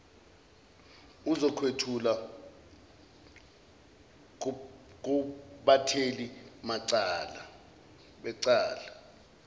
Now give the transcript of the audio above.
uzokwethula kubathethi becala